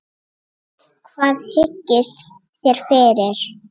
Hvað hyggist þér fyrir?